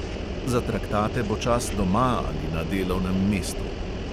Za traktate bo čas doma ali na delovnem mestu.